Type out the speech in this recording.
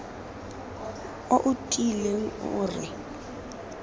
o o tiileng o re